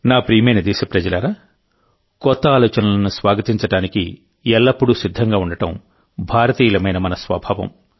నా ప్రియమైన దేశప్రజలారాకొత్త ఆలోచనలను స్వాగతించడానికి ఎల్లప్పుడూ సిద్ధంగా ఉండడం భారతీయులమైన మన స్వభావం